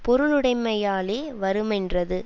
பொருளுடைமையாலே வருமென்றது